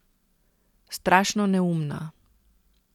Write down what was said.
Strašno neumna.